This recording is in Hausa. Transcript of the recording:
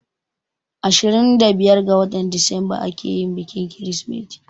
Ashirin da biyar ga watar disamba ake bikin Kirsimeti.